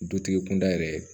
Dutigi kunda yɛrɛ